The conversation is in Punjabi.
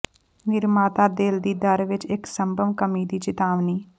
ਨਿਰਮਾਤਾ ਦਿਲ ਦੀ ਦਰ ਵਿਚ ਇਕ ਸੰਭਵ ਕਮੀ ਦੀ ਚੇਤਾਵਨੀ